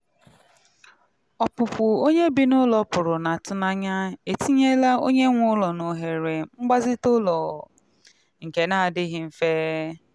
ọpụpụ onye bi n'ụlọ pụrụ n'atụnanya etinyela onye nwe ụlọ n'ohere mgbazite ụlọ nke n'adịghị mfe.